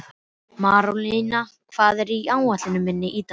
Marólína, hvað er á áætluninni minni í dag?